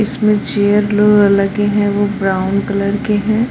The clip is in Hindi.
इसमें चेयर लो लगे हैं वो ब्राउन कलर के हैं।